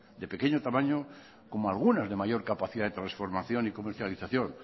de pequeño tamaño como algunas de mayor capacidad de transformación y comercialización